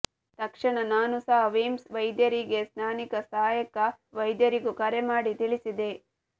ತಕ್ಷಣ ನಾನು ಸಹ ಮಿಮ್ಸ್ ವೈದ್ಯರಿಗೆ ಸ್ಥಾನೀಕ ಸಹಾಯಕ ವೈದ್ಯರಿಗೂ ಕರೆ ಮಾಡಿ ತಿಳಿಸಿದೆ